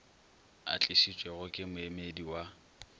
a tlišitšwego ke moemedi wa